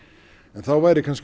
þá væri